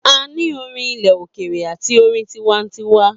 A ni orin ilẹ òkèèrè àti orin tinwantiwa